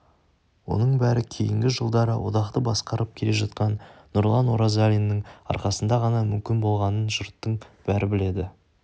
оның бәрі кейінгі жылдары одақты басқарып келе жатқан нұрлан оразалиннің арқасында ғана мүмкін болғанын жұрттың бәрі біледі